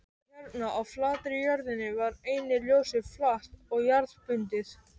Hérna á flatri jörðinni var einnig ljósið flatt og jarðbundið.